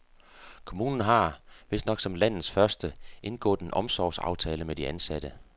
Kommunen har, vistnok som landets første, indgået en omsorgsaftale med de ansatte.